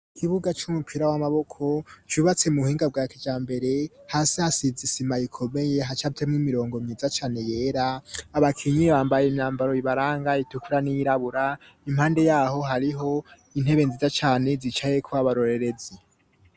Ikibuga c'umupira w'amaboko, cubatse mu buhinga bwa kijambere, hasi hasize isima ikomeye, hacafyemwo imirongo myiza cane yera, abakinyi bambaye imyambaro ibaranga itukura n'iyirabura, impande yaho hariho intebe nziza cane zicayeko abarorerezi.